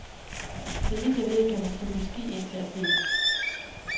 Så vidt jeg ved, kan man stå på ski indtil april.